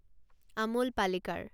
Amul Palekar